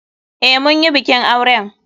Eh, munyi bikin auren.